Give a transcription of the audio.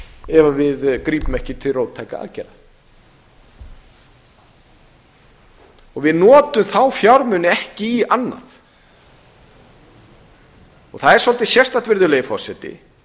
ef við grípum ekki til róttækra aðgerða við notum þá fjármuni ekki í annað það er svolítið sérstakt virðulegi forseti